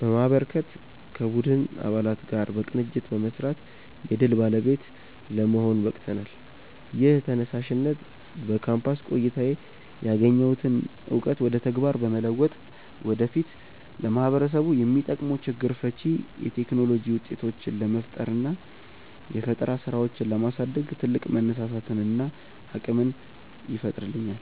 በማበርከትና ከቡድን አባላት ጋር በቅንጅት በመስራት የድል ባለቤት ለመሆን በቅተናል። ይህ ተነሳሽነት በካምፓስ ቆይታዬ ያገኘሁትን እውቀት ወደ ተግባር በመለወጥ ወደፊት ለማህበረሰቡ የሚጠቅሙ ችግር ፈቺ የቴክኖሎጂ ውጤቶችን ለመፍጠርና የፈጠራ ስራዎችን ለማሳደግ ትልቅ መነሳሳትንና አቅምን ይፈጥርልኛል።